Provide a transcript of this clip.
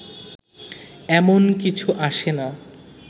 এমন কিছু আসে না